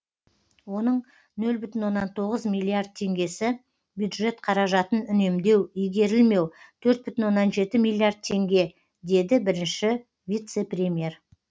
оның нөл бүтін оннан тоғыз миллиард теңгесі бюджет қаражатын үнемдеу игерілмеу төрт бүтін оннан жеті миллиард теңге деді бірінші вице премьер